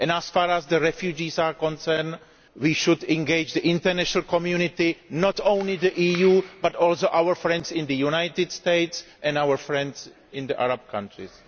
And as far as the refugees are concerned we should engage the international community, not only the EU but also our friends in the United States and our friends in the Arab countries.